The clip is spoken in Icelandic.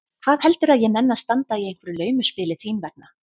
Hvað heldurðu að ég nenni að standa í einhverju laumuspili þín vegna?